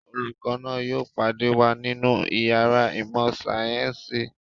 Olùkọ́ náà yóò pàdé wa nínú ìyàrá ìmọ̀-sáyẹ́ńsì.